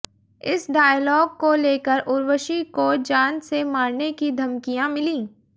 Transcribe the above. इस डायलॉग को लेकर उर्वशी को जान से मारने की धमकियां मिलीं